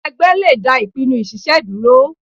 Ẹgbẹ́ le dá ìpinnu ṣiṣe dúró.